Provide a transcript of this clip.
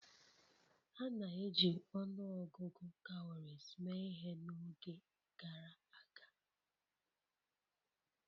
A na-eji ọnụ ọgụgụ cowries mee ihe n'oge gara aga.